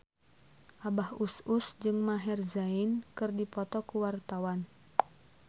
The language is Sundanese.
Abah Us Us jeung Maher Zein keur dipoto ku wartawan